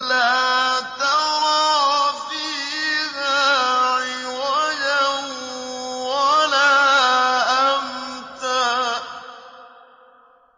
لَّا تَرَىٰ فِيهَا عِوَجًا وَلَا أَمْتًا